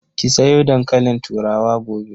Ki soya dankalin turawa gobe!